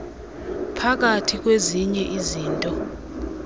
phakathi kwezinye izinto